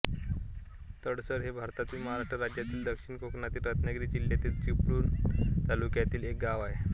तळसर हे भारतातील महाराष्ट्र राज्यातील दक्षिण कोकणातील रत्नागिरी जिल्ह्यातील चिपळूण तालुक्यातील एक गाव आहे